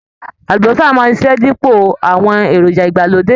Àlúbósà máa ṣiṣẹ́ dípò awon èròjà ìgbàlódé